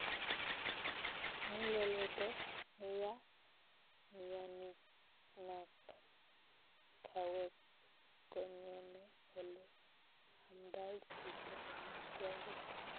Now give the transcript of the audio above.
Muleledo neyaa myaniknak kawek kongemee ole amdai chitoo amitwagik